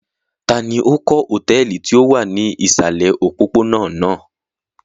Ta ni ó kọ́ hòtẹ́ẹ́lì tí ó wà ní ìsàlẹ̀ òpópónà náà?